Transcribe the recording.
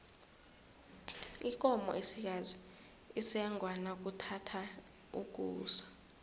ikomo esikazi isengwa nakuthatha ukusa